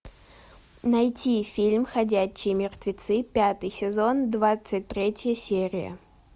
найти фильм ходячие мертвецы пятый сезон двадцать третья серия